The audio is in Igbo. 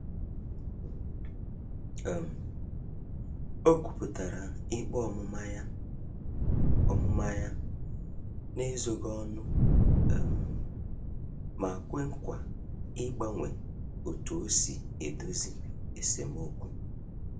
um Okwuputara ikpe ọmụma ya ọmụma ya na-ezoghi ọnụ um ma kwe nkwa ịgbanwe otu osi edozi esemokwu